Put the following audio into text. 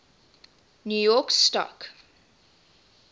new york stock